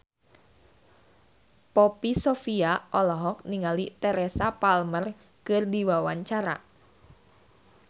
Poppy Sovia olohok ningali Teresa Palmer keur diwawancara